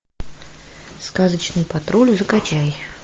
сказочный патруль закачай